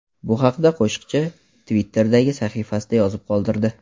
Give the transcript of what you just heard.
Bu haqda qo‘shiqchi Twitter’dagi sahifasida yozib qoldirdi .